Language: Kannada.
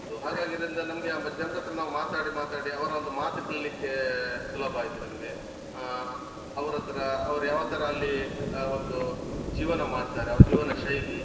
ಹಾಗಾಗಿ ಇದ್ರಿಂದ ನಮ್ಗೆ ಜನರ ಹತ್ರ ನಾವು ಮಾತಾಡಿ ಮಾತಾಡಿ ಅವರ ಒಂದು ಮಾತು ಕಲಿಲಿಕ್ಕೆ ಸುಲಭ ಆಯ್ತು ನಮ್ಗೆ. ಆ ಅವರತ್ರ ಅವರು ಯಾವ ತರ ಅಲ್ಲಿ ಆ ಒಂದು ಜೀವನ ಮಾಡ್ತಾರೆ ಅವರ ಜೀವನ ಶೈಲಿ